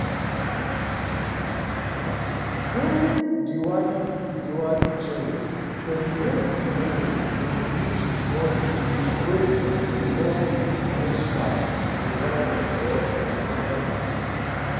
during diwali diwali jains celebrate di moment im reach one state wey dem call moksha nirvana or eternal bliss